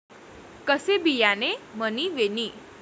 कसे बियाणे मणी वेणी?